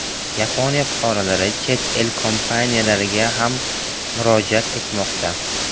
Yaponiya fuqarolari chet el kompaniyalariga ham murojaat etmoqda.